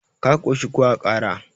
ka koshi ko a Kara?